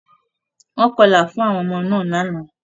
Wọ́n kọlà fún àwọn ọmọ náà lánàá.